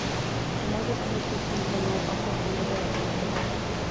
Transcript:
можешь включить телеканал охота и рыбалка на тв